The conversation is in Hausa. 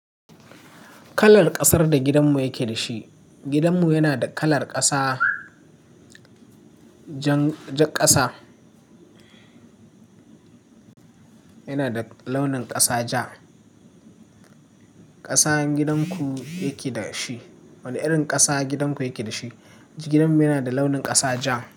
Kalar ƙasar da gidanmu yake da shi. Gidanmu yana da kalar ƙasa, jan, jar ƙasa. Yana da launin ƙasa ja. Ƙasan gidanku yake da shi. Wane irin ƙasa gidan ku yake dashi? Gidanmu yana da launin ƙasa ja.